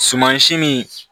Sumansi nin